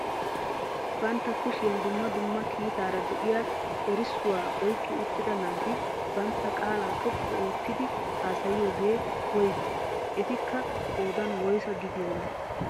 Bantta kushiyaan dumma dumma kiitaara de'iyaa erissuwaa oyqqi uttida naati bantta qaalaa xoqqu oottidi haasayiyoogee woygii? etikka qoodan woysaa gidiyoonaa?